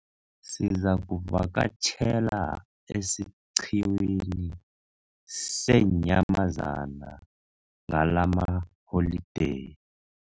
Sizakuvakatjhela esiqhiwini seenyamazana ngalamaholideyi.